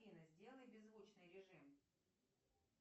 афина сделай беззвучный режим